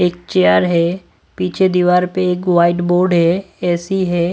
एक चेयर है पीछे दीवार पे एक व्हाइट बोर्ड है ए_सी है।